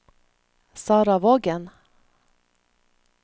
Sarah Vågen